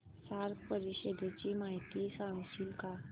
SAARC परिषदेची माहिती सांगशील का